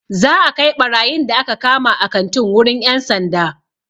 Za'a kai ɓarayin da aka kama a kantin wurin 'yan sanda.